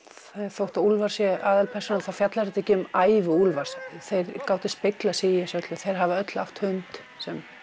þótt Úlfar sé aðalpersónan er þetta ekki um ævi Úlfars þau gátu speglað sig í þessu öllu þau hafa öll átt hund sem